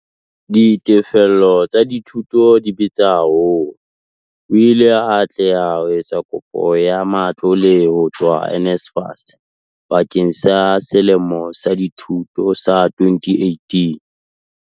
Ditefello tsa dithuto di bitsa haholo. O ile a atleha ho etsa kopo ya matlole ho tswa NSFAS bakeng sa selemo sa dithuto sa 2018.